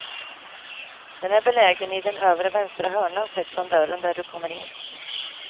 Den är belägen i den övre vänstra hörnan sett från dörren där du kommer in.